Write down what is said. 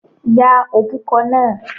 Ya òbúkọ náà.